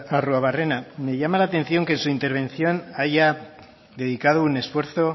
arruabarrena me llama la atención que en su intervención haya dedicado un esfuerzo